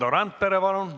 Valdo Randpere, palun!